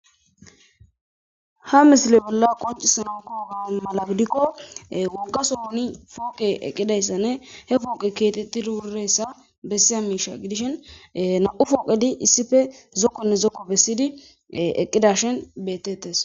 Ha misle bola qoncisana koyidogadan gidiko wogason poqe eqidaga woyko kexetidi wiridag gidish nau poqeti zokone zoko oyqetid eqi uti utirashin betes.